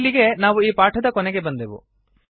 ಇಲ್ಲಿಗೆ ನಾವು ಈ ಪಾಠದ ಕೊನೆಗೆ ಬಂದೆವು